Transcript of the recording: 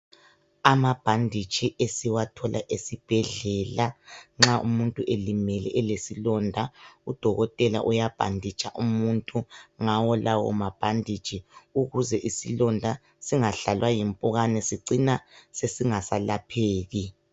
Amabhanditshi esithola esibhedlela nxa umuntu elimele elesilonda udokotela uyabhanditsha umuntu ngawo lawo mabhanditshi ukuze isilonda singahlalwa yimpukan sicina singasalapheki.